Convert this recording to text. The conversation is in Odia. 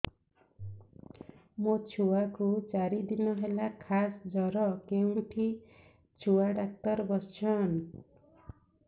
ମୋ ଛୁଆ କୁ ଚାରି ଦିନ ହେଲା ଖାସ ଜର କେଉଁଠି ଛୁଆ ଡାକ୍ତର ଵସ୍ଛନ୍